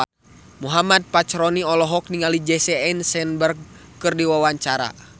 Muhammad Fachroni olohok ningali Jesse Eisenberg keur diwawancara